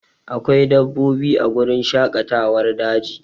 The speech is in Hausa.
Akwai dabbobi a wurin shaƙatawar daji